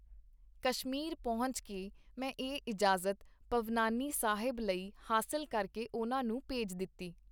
ਕਸ਼ਮੀਰ ਪਹੁੰਚ ਕੇ ਮੈਂ ਇਹ ਇਜਾਜ਼ਤ ਭਵਨਾਨੀ ਸਾਹਿਬ ਲਈ ਹਾਸਲ ਕਰਕੇ ਉਹਨਾਂ ਨੂੰ ਭੇਜ ਦਿਤੀ.